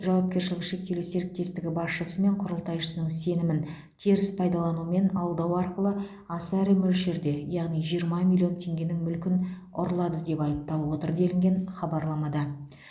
жауапкешілігі шектеулі серіктестігі басшысы мен құрылтайшысының сенімін теріс пайдалану мен алдау арқылы аса ірі мөлшерде яғни жиырма миллион теңгенің мүлкін ұрлады деп айыпталып отыр делінген хабарламада